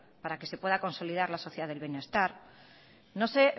para que se pueda consolidad la sociedad del bienestar no sé